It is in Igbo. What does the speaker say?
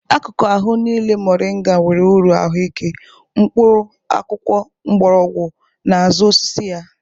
Akụkụ ahụ niile mọrịnga nwere uru ahụike: mkpụrụ, akwụkwọ, mgbọrọgwọ na azụ osisi ya.